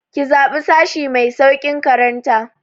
Ki zaɓi sashi mai sauƙin karanta!